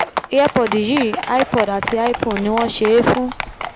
earpod yìí ipod àti ipone ni wọ́n ṣe é fún